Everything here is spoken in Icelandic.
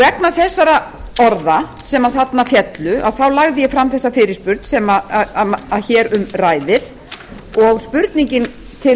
vegna þessara orða sem þarna féllu þá lagði ég fram þessa fyrirspurn sem hér um ræðir og spurningin til